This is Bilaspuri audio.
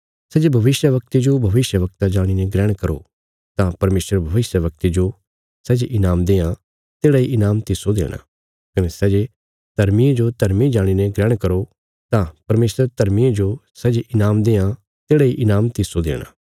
सै जे भविष्यवक्ते जो भविष्यवक्ता जाणीने ग्रहण करो तां परमेशर भविष्यवक्ते जो सै जे ईनाम देआं तेढ़ा इ ईनाम तिस्सो देणा कने सै जे धर्मिये जो धर्मी जाणीने ग्रहण करो तां परमेशर धर्मिये जो सै जे ईनाम देआं तेढ़ा इ ईनाम तिस्सो देणा